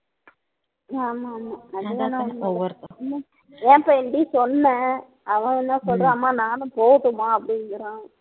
ஆமா ஆமா அதுவேணா உண்மைதான் என் பையன்கிட்டயும் சொன்னேன் அவன் என்ன சொல்றான் அம்மா நானும் போகட்டுமா அப்படிங்கிறான்